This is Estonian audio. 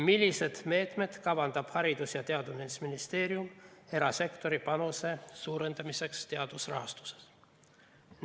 Milliseid meetmeid kavandab Haridus‑ ja Teadusministeerium erasektori panuse suurendamiseks teadusrahastuses?